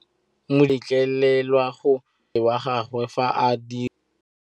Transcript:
Modise ga a letlelelwa go tshikinya mmele wa gagwe fa ba dira karô.